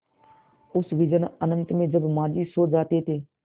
उस विजन अनंत में जब माँझी सो जाते थे